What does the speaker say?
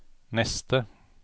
neste